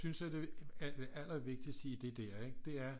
Synes er det allervigtigste i det der det er